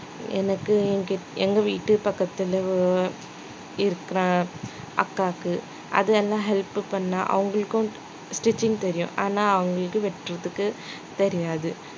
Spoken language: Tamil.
எனக்கு என்கிட்~ எங்க வீட்டு பக்கத்துல ஒ~ இருக்கிற அக்காவுக்கு அதெல்லாம் help பண்ண அவங்களுக்கும் stitching தெரியும் ஆனா அவங்களுக்கு வெட்டுறதுக்கு தெரியாது